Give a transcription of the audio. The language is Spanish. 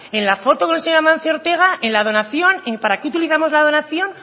en la foto del señor amancio ortega en la donación en para qué utilizamos la donación